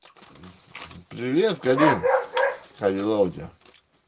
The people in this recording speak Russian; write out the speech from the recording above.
привет галин как дела у тебя